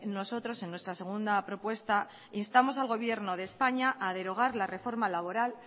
nosotros en nuestra segunda propuesta instamos al gobierno de españa a derogar la reforma laboral